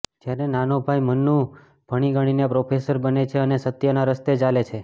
જ્યારે નાનો ભાઈ મન્નુ ભણીગણીને પ્રોફેસર બને છે અને સત્યના રસ્તે ચાલે છે